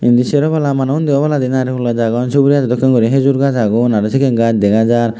indi seropolla manuj undi oboladi narigul gaz agon suburi gazo dokken guri hejur gaz agon araw sikken gaz dega jar.